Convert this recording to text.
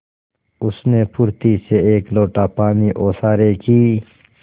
उसने फुर्ती से एक लोटा पानी ओसारे की